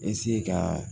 ka